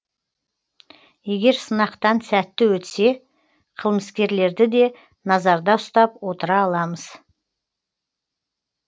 егер сынақтан сәтті өтсе қылмыскерлерді де назарда ұстап отыра аламыз